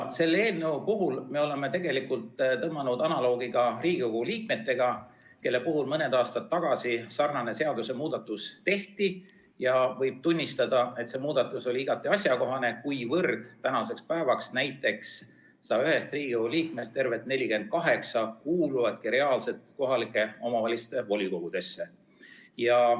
Selle eelnõu puhul me oleme tõmmanud paralleele ka Riigikogu liikmetega, kelle puhul mõni aasta tagasi sarnane seadusemuudatus tehti, ja võib tunnistada, et see muudatus oli igati asjakohane, kuivõrd nüüdseks kuulubki 101 Riigikogu liikmest tervelt 48 kohalike omavalitsuste volikogudesse.